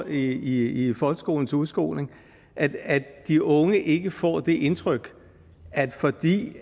i i folkeskolens udskoling at de unge ikke får det indtryk at fordi